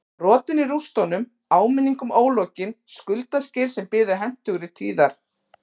Brotin í rústunum áminning um ólokin skuldaskil sem biðu hentugri tíðar